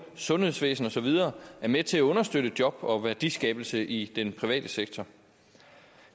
sundhedsvæsen og så videre er med til at understøtte job og værdiskabelse i den private sektor